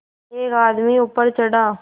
एक आदमी ऊपर चढ़ा